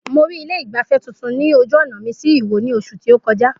Mo rí ilé ìgbafẹ́ tuntun ní ojú ọ̀nà mi sí ìwó ní oṣù tí ó kọjá